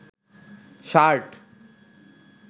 shirt